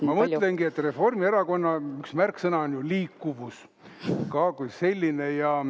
Ma mõtlengi, et Reformierakonnal üks märksõna on ju liikuvus kui selline.